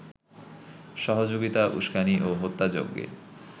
সহযোগিতা, উস্কানি ও হত্যাযজ্ঞে